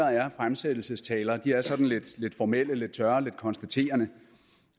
er fremsættelsestaler sådan lidt formelle lidt tørre lidt konstaterende